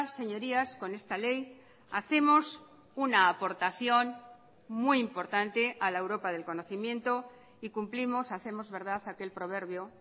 señorías con esta ley hacemos una aportación muy importante a la europa del conocimiento y cumplimos hacemos verdad aquel proverbio